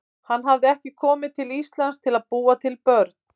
Hann hafði ekki komið til Íslands til að búa til börn.